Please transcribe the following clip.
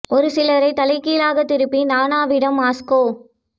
ஒரு சிலரிதைத் தலைகீழாகத் திருப்பி நானாவிடம் மாஸ்கோ